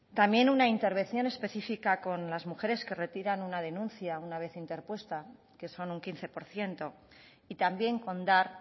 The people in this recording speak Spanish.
también una intervención específica con las mujeres que retiran una denuncia una vez interpuesta que son un quince por ciento y también con dar